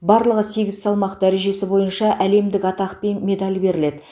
барлығы сегіз салмақ дәрежесі бойынша әлемдік атақ пен медаль беріледі